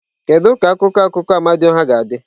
Kedu ka akụkọ akụkọ Amadioha ga-adị?